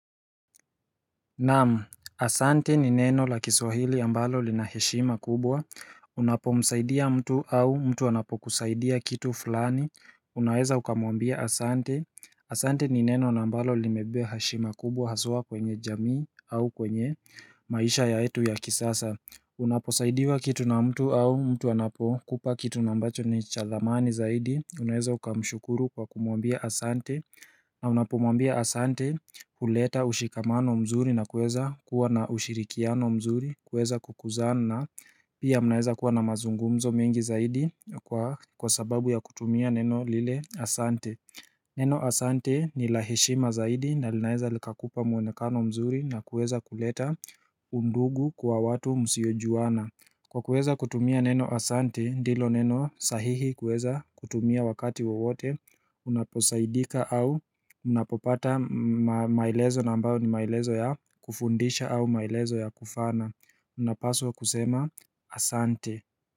Naam, asante ni neno la kiswahili ambalo lina heshima kubwa, unapo msaidia mtu au mtu anapo kusaidia kitu fulani, unaweza ukamwambia asante, asante ni neno na ambalo limebeba heshima kubwa haswa kwenye jamii au kwenye maisha yetu ya kisasa Unaposaidiwa kitu na mtu au mtu anapo kupa kitu na ambacho ni cha dhamani zaidi Unaweza uka mshukuru kwa kumwambia asante na unapomwambia asante uleta ushikamano mzuri na kueza kuwa na ushirikiano mzuri kueza kukuzana pia mnaweza kuwa na mazungumzo mengi zaidi kwa sababu ya kutumia neno lile asante Neno Asante ni la heshima zaidi na linaeza likakupa muonekano mzuri na kuweza kuleta undugu kwa watu musiojuana Kwa kuweza kutumia neno Asante ndilo neno sahihi kuweza kutumia wakati wowote unaposaidika au unapopata maelezo na ambao ni maelezo ya kufundisha au maelezo ya kufana unapaswa kusema Asante.